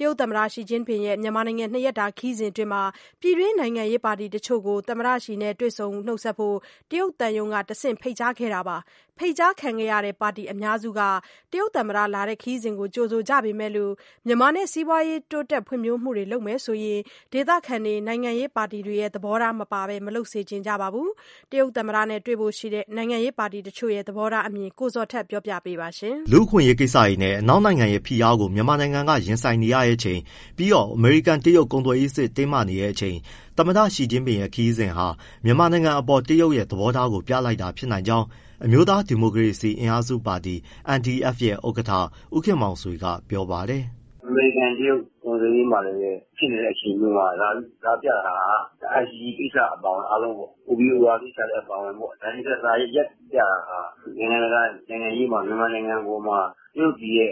တရုတ်သမ္မတ ရှီကျင့်ပင်ရဲ့မြန်မာနိုင်ငံနှစ်ရက်တာခရီးစဉ်မှာ ပြည်တွင်း နိုင်ငံရေးပါတီတချို့ကို သမ္မတရှီ နဲ့ တွေ့ဆုံဖို့ တရုတ်သံရုံးကတဆင့် ဖိတ်ကြားထားပြီး ပါတီစုစုပေါင်း ၂၀ ဝန်းကျင်လောက် တက်ရောက်ဖို့ရှိပါတယ်။ ဖိတ်ကြားခံရတဲ့ ပါတီအများစုက တရုတ်သမ္မတ အခုလို လာရောက်တဲ့ ခရီးစဉ်ကိုကြိုဆို ကြ ပေမယ့် မြန်မာနဲ့ စီးပွါးရေးတိုးတက် ဖွ့ဖြိုးမှုတွေ လုပ်မယ် ဆိုရင်တော့ ဒေသခံတွေ၊ နိုင်ငံရေးပါတီတွေရဲ့ သဘောထား မပါပဲ မလုပ်စေချင်ကြပါဘူး။ တရုတ် သမ္မတနဲ့ တွေ့ဆုံဖို့ ရှိတဲ့ နိုင်ငံရေးပါတီ တချို့ရဲ့ သဘောထားအမြင်ကို မေးမြန်းပြီး ကိုဇော်ထက်က တင်ပြ ပေးမှာပါ။ လူ့အခွင့်အရေးကိစ္စတွေနဲ့ အနောက်နိုင်ငံရဲ့ ဖိအားကို မြန်မာက ရင်ဆိုင်နေရချိန် ပြီးတော့အမေရိကန်-တရုတ် ကုန်သွယ်ရေးစစ် တင်းမာနေချိန် သမ္မတရှီကျင့်ပင်ရဲ့ ခရီးစဉ်ဟာ မြန်မာနိုင်ငံအပေါ် တရုတ်ရဲ့ သဘောထားကို ပြလိုက်တာဖြစ်နိုင်ကြောင်း အမျိုးသား ဒီမိုကရေစီ အင်အားစုပါတီ NDF ရဲ့ ဥက္ကဋ္ဌ ဦးခင်မောင်ဆွေက ပြောပါတယ်။ " အမေရိကန်-တရုတ် ကုန်သွယ်ရေးမှာလည်းပဲ ဖြစ်နေတဲ့အချိန်မျိုးမှာ လာပြတာဟာ ICJ ကိစ္စအပါအဝင် OBOR ကိစ္စလည်းအပါအဝင် နိုင်ငံတကာမှာ နိုင်ငံတကာနိုင်ငံရေးမှာ မြန်မာနိုင်ငံအပေါ်မှာ တရုတ်ပြည်ရဲ့